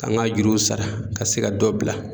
Ka n ka juruw sara ka se ka dɔ bila